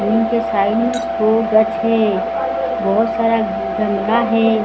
Room के side में है बहुत सारा गंदा है।